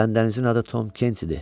Cənab Dənizin adı Tom Kent idi.